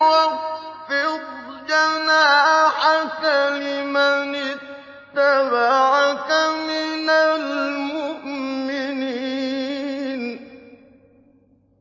وَاخْفِضْ جَنَاحَكَ لِمَنِ اتَّبَعَكَ مِنَ الْمُؤْمِنِينَ